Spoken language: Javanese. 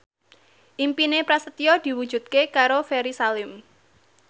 impine Prasetyo diwujudke karo Ferry Salim